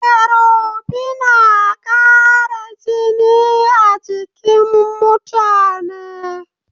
Ferobinna ƙara jini a jikin mutane.